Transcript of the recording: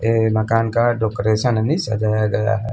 ये मकान का डेकोरेशन अभी सजाया गया है।